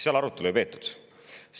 Seal arutelu ei peetud.